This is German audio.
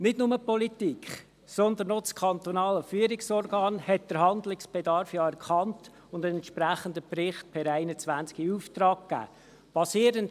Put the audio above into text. Nicht nur die Politik, sondern auch das KFO hat den Handlungsbedarf ja erkannt und einen entsprechenden Bericht per 2021 in Auftrag gegeben.